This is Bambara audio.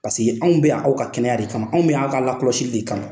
Paseke anw bɛ yan aw ka kɛnɛya de kama , anw bɛ yan aw ka ka lakɔsili de kama!